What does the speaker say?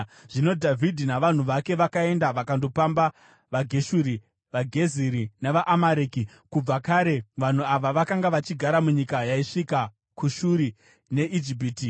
Zvino Dhavhidhi navanhu vake vakaenda vakandopamba vaGeshuri, vaGeziri, navaAmareki. (Kubva kare vanhu ava vakanga vachigara munyika yaisvika kuShuri neIjipiti.)